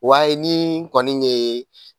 Wa ye ni kɔni ye